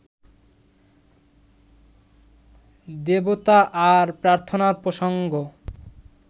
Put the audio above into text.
দেবতা আর প্রার্থনার প্রসঙ্গ